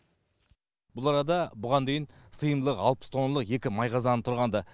бұл арада бұған дейін сыйымдылығы алпыс тонналық екі май қазаны тұрғанды